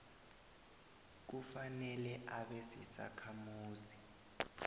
kufanele abe sisakhamuzi